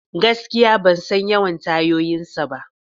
Gaskiya! Ban san yawan tayoyinsa ba.